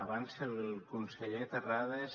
abans el conseller terrades